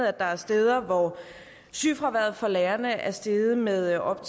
at der er steder hvor sygefraværet for lærerne er steget med op